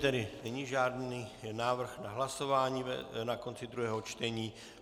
Tedy není žádný návrh na hlasování na konci druhého čtení.